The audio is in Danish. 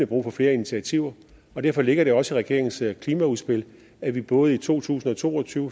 brug for flere initiativer og derfor ligger der også i regeringens klimaudspil at vi både i to tusind og to og tyve